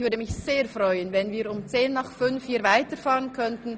Ich würde mich sehr freuen, wenn wir um 17.10 Uhr hier weiterfahren könnten.